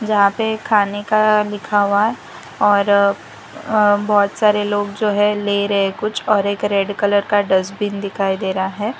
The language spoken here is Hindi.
यहां पे खाने का लिखा हुआ है और अह बहुत सारे लोग जो है ले रहे कुछ और एक रेड कलर का डस्टबिन दिखाई दे रहा है।